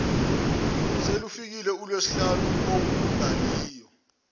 selufikile ulwesihlanu olungaliyo